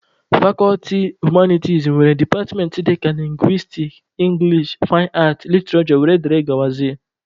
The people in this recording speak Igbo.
Fakọlti humaniti nwere departmentị dịka lingwistiks, english, fain aat, literishure wdg.